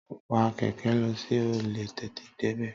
Wa kẹ̀kẹ́ lọ kí o lè tètè débẹ̀